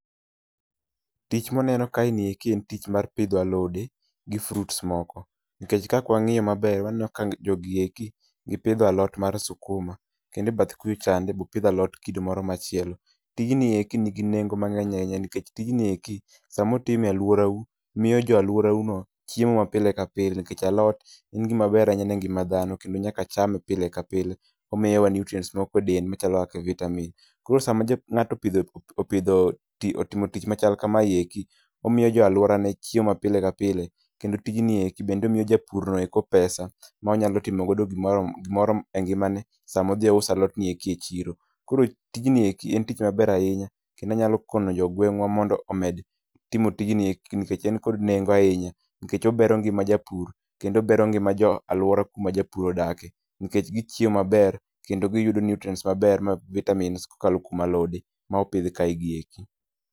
Tich muneno kae ni eki en tich mar pidho alode gi fruits moko. NIkech ka kwang'iyo maber waneno ka jogi eki gipidho alot mar sukuma, kende e bathe kucha chande be opidhe alot kido moro machielo. Tijni eki nigi nengo mang'eny ahinya nikech tijni eki samotime e alworau moiyo jo alworau no chiemo mapile ka pile, nikech alot en gima ber ahinya ne ngima dhano kendo nyaka chame pile lka pile. Omiyowa nutrients moko e del machalo kaka vitamin. Koro sama japu ng'ato opidho opidho ti otimo tich machal kamae eki omiyo jo alworane chiemo ma pile ka pile, kendo tijni eki bende miyo japur no eko pesa ma onyalo timogo gimora gimoro e ngimane sama odhi ouso alot ni eki e chiro. Koro tijni eki en tich maber ahinya kendo anyalo kono jogweng'wa mondo omed timo tijni eki nikech en kod nengo ahinya. NIkech obero ngima japur kendo obero ngima jo alwora kama japur odake, nikech gichiemo maber kendo giyudo nutrients maber ma vitamins kokalo kuom alode ma opidh kae gi eki.